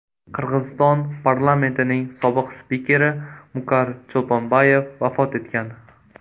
Qirg‘iziston parlamentining sobiq spikeri Mukar Cho‘lponbayev vafot etgan.